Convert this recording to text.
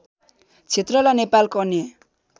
क्षेत्रलाई नेपालको अन्य